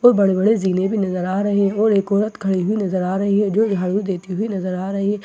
और बड़े बड़े जीने भी नजर आ रहे हैं और एक औरत खड़ी हुई नजर आ रही है जो झाड़ू देती हुई नजर आ रही है और छोटे --